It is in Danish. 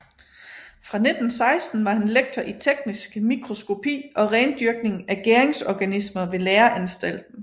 Fra 1916 var han lektor i teknisk mikroskopi og rendyrkning af gæringsorganismer ved Læreanstalten